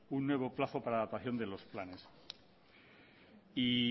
un nuevo plazo para la adaptación de los planes